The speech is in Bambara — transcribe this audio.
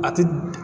A ti